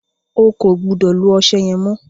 O kò gbúdọ̀ lo ọṣẹ yẹn mọ́!